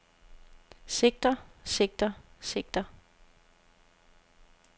sigter sigter sigter